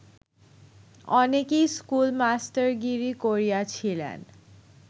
অনেকেই স্কুল-মাস্টারগিরি করিয়াছিলেন